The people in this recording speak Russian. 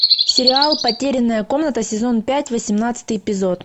сериал потерянная комната сезон пять восемнадцатый эпизод